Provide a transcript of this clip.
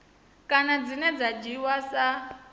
kana dzine dza dzhiiwa sa